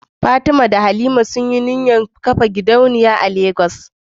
Fatima da Halima sun yi burin kafa gidauniya a Legas